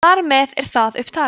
þar með er það upptalið